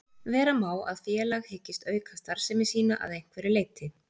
Vera má að félag hyggist auka starfsemi sína að einhverju leyti.